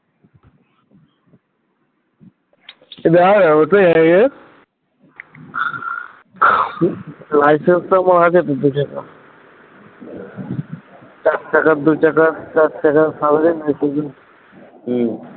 licence পৌঁছে দিতে হতো এক চাকার দুই চাকার চার চাকার হম